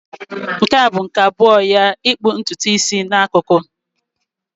Nke a bụ nke abụọ ya ịkpụ ntutu isi n'akụkụ.